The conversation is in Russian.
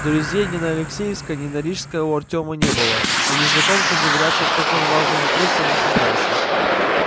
друзей ни на алексеевской ни на рижской у артёма не было а незнакомцам доверяться в таком важном вопросе он не собирался